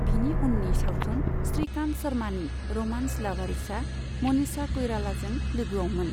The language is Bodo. बिनि उननि सावथुन श्रीकान्त शर्मानि र'मान्स, लावारिसआव मनीषा कइरालाजों लोगोआवमोन।